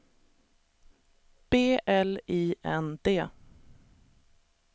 B L I N D